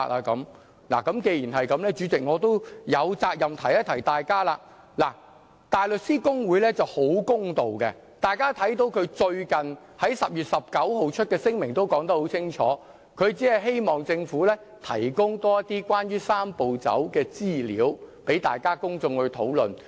既然如此，主席，我有責任提醒大家，大律師公會是很公道的，大家看到它最近在10月19日發出的聲明說得很清楚，只希望政府提供更多關於"三步走"的資料，讓公眾討論。